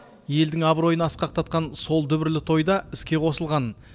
елдің абыройын асқақтатқан сол дүбірлі тойда іске қосылған